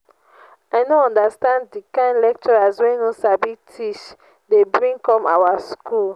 i no understand the kin lecturers wey no sabi teach dey bring come our school